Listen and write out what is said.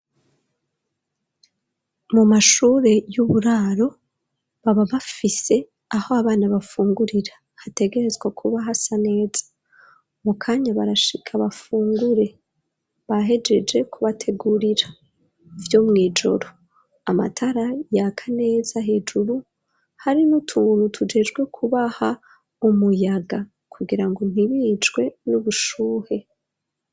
Mu mashure y'uburaro baba bafise aho abana bafungurira hategerezwa kuba hasa neza; mu kanya barashika bafungure bahejeje kubategurira vyo mwijoro amatara yaka neza hejuru hari n'utuntu tujejwe kubaha umuyaga kugira ngo ntibicwe n'ubushuhe.